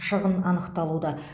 шығын анықталуда